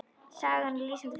Sagan er lýsandi fyrir Helgu.